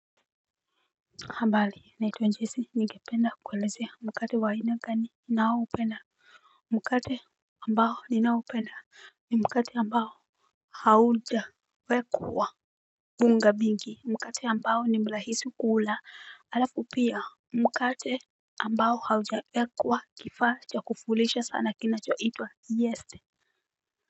Ambali, naitwa jesi, nikipenda, kwelezea, mkati waina kani, nao penda, mkati ambao, ni nao penda, ni mkati ambao, hauja, wekwa, bunga bingi, mkati ambao, nimlahisi kula, arafu pia, mkati ambao, hauja, wekwa, kifa, chakufulisha sana kina cho itwa, yeste,